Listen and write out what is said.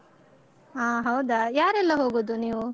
ಹ ಹೌದಾ ಯಾರೆಲ್ಲ ಹೋಗೋದು ನೀವು?